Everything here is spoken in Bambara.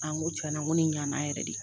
A n ko n ko ni ɲɛna yɛrɛ de